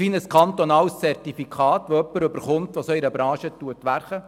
Gibt es eine Art Zertifikat für jemanden, der in dieser Branche arbeitet?